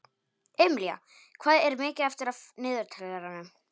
Emilía, hvað er mikið eftir af niðurteljaranum?